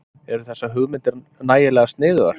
Eru þessar hugmyndir nægilega sniðugar?